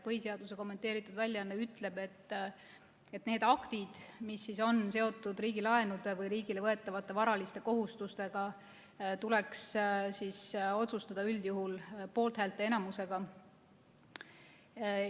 Põhiseaduse kommenteeritud väljaanne ütleb, et need aktid, mis on seotud riigilaenude või riigile võetavate varaliste kohustustega, tuleks otsustada üldjuhul poolthäälte enamusega.